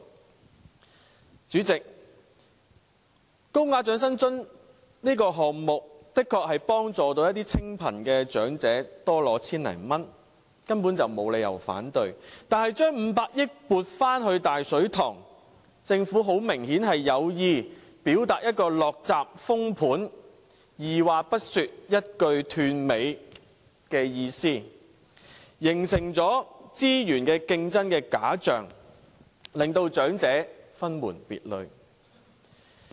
代理主席，高額長者生活津貼的項目的確能夠幫助一些清貧長者多領千多元，根本沒理由反對，但將500億元撥回"大水塘"，很明顯政府是有意表達"落閘封盤"、二話不說、一句斷尾的意思，形成資源競爭的假象，將長者分門別類。